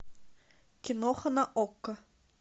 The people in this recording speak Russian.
киноха на окко